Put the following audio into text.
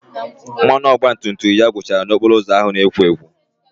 Mmanụ ọgbatumtum ya gwụchara n'okporo ụzọ ahụ na-ekwo ekwo